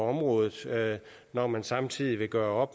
området når man samtidig vil gøre